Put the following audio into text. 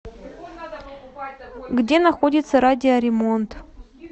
где находится радиоремонт